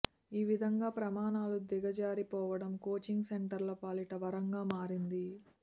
ఈవిధంగా ప్రమాణాలు దిగజారి పోవడం కోచింగ్ సెంటర్ల పాలిట వరంగా మారింది